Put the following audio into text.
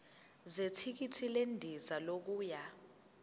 zethikithi lendiza yokuya